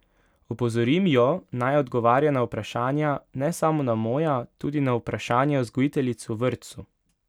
Opozorim jo, naj odgovarja na vprašanja, ne samo na moja, tudi na vprašanja vzgojiteljic v vrtcu.